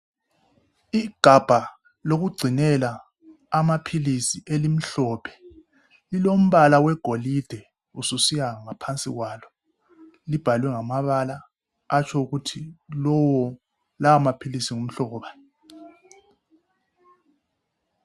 Igabha lokugcinela amaphilisi elimhlophe lilombala wegolide ususiya ngaphansi kwalo libhalwe ngamabala atsho ukuthi lowo lawo maphilisi ngumhlobo bani